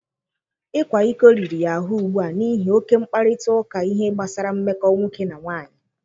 Ịkwa iko riri ya ahụ ugbu a n'ihi oke mkparịta ụka ihe gbasara mmekọ nwoke na nwaanyị.